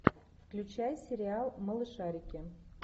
включай сериал малышарики